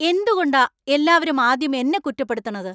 എന്തുകൊണ്ടാ എല്ലാവരും ആദ്യം എന്നെ കുറ്റപ്പെടുത്തണത്?